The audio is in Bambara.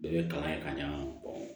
Bɛɛ bɛ kalan kɛ ka ɲa